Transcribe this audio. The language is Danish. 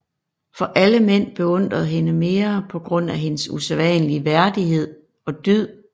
For alle mænd beundrede hende mere på grund af hendes usædvanlige værdighed og dyd